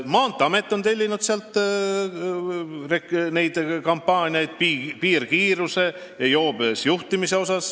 Maanteeamet on PBK-lt tellinud joobes juhtimise vastaseid ja piirkiiruse kampaaniaid.